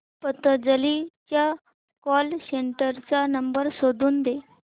पतंजली च्या call centre चा number शोधून दे